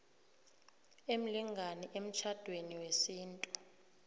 emlingani emtjhadweni wesintu